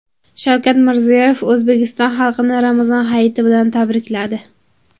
Shavkat Mirziyoyev O‘zbekiston xalqini Ramazon hayiti bilan tabrikladi.